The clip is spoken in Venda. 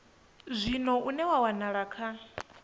zwino une wa wanala kha